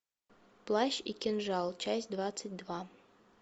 плащ и кинжал часть двадцать два